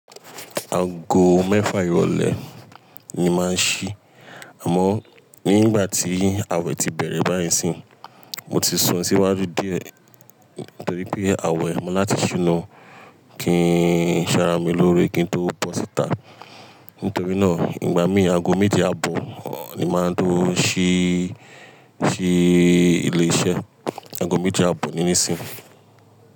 Ago mẹ́fà ìrọ̀lẹ́ ni máa ń ṣí. Àmọ́ nígbà tí ààwẹ̀ ti bẹ̀rẹ̀ báyìí sí, mo ti sún síwájú dí ẹ̀ torí pé ààwẹ̀ máa láti ṣúná kí n ṣàrà mí lórí kí n tó bọ́ síta. Nítorí náà, ìgbà mí ago méjì abọ ni máa tó ṣí, ṣí ilé iṣẹ́. Ago méjì abọ níní sii.